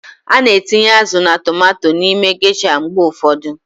A na-etinye azụ na tomanto n'ime gesha mgbe ụfọdụ.